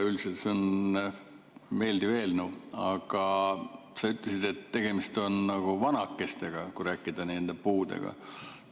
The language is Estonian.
Üldiselt on see meeldiv eelnõu, aga sa ütlesid, et tegemist on vanakestega, kui rääkida puudest.